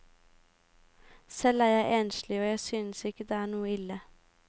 Selv er jeg enslig og jeg synes ikke det er noe ille.